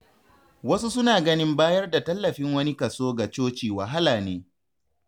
Wasu suna ganin bayar da tallafin wani kaso ga coci wahala ne.